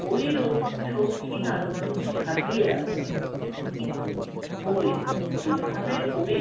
বইও সৌখিন আলমারিতে সাজিয়ে রাখি। কিন্তু বই যেভাবে পড়ে